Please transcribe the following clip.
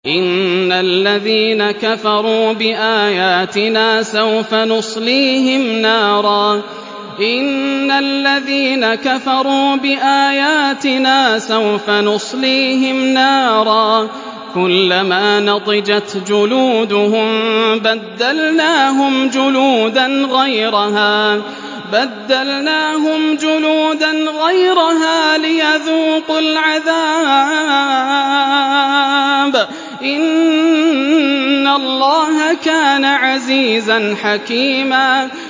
إِنَّ الَّذِينَ كَفَرُوا بِآيَاتِنَا سَوْفَ نُصْلِيهِمْ نَارًا كُلَّمَا نَضِجَتْ جُلُودُهُم بَدَّلْنَاهُمْ جُلُودًا غَيْرَهَا لِيَذُوقُوا الْعَذَابَ ۗ إِنَّ اللَّهَ كَانَ عَزِيزًا حَكِيمًا